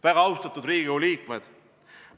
Väga austatud Riigikogu liikmed!